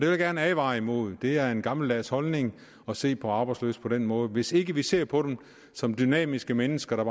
jeg gerne advare imod det er en gammeldags holdning at se på arbejdsløse på den måde hvis vi ikke ser på dem som dynamiske mennesker der